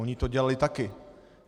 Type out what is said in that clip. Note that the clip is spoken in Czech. Oni to dělali taky."